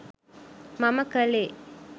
මම කළේ.